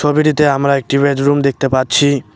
ছবিটিতে আমরা একটি বেডরুম দেখতে পাচ্ছি।